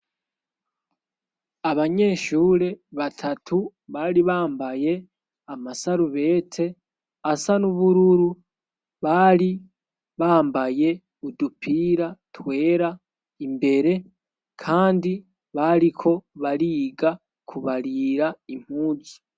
abanyeshure batatu baribambaye amasarubete asa n'ubururu baribambaye udupira twera imbere kandi bariko bariga kubarira impunzu